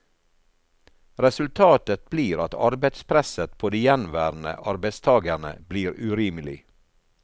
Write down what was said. Resultatet blir at arbeidspresset på de gjenværende arbeidstagerne blir urimelig.